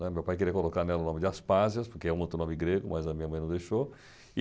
Meu pai queria colocar nela o nome de Aspásias, porque é um outro nome grego, mas a minha mãe não deixou.